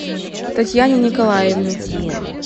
татьяне николаевне